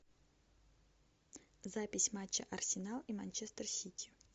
запись матча арсенал и манчестер сити